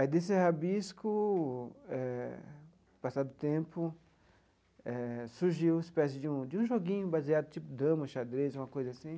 Aí, desse rabisco eh, passado o tempo, eh surgiu uma espécie de um de um joguinho baseado, tipo dama, xadrez, uma coisa assim,